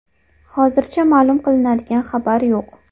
Hozircha ma’lum qiladigan xabar yo‘q.